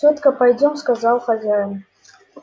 тётка пойдём сказал хозяин